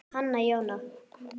Þín, Hanna Jóna.